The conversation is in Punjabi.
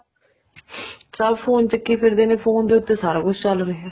ਸਭ phone ਚੱਕੀ ਫਿਰਦੇ ਨੇ phone ਦੇ ਉੱਤੇ ਸਾਰਾ ਕੁੱਛ ਚੱਲ ਰਿਹਾ